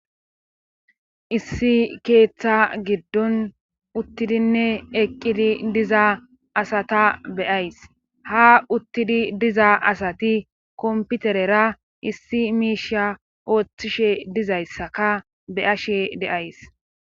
Issi keeththa giddon uttidinne eqqidi diza asata be7ays ha uttidi diza asati komputerera issi miisha ooththishe dizayssaka be7ashe de7ays.